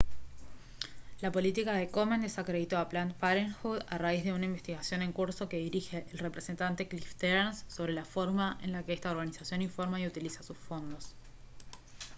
la política de komen desacreditó a planned parenthood a raíz de una investigación en curso que dirige el representante cliff stearns sobre la forma en la que esta organización informa y utiliza sus fondos